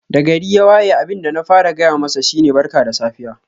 Da gari ya waye abin da na fara gaya masa shi ne Barka da safiya.